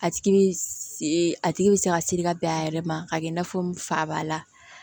A tigi bi a tigi bi se ka siri ka bɛn a yɛrɛ ma k'a kɛ i n'a fɔ fa ba la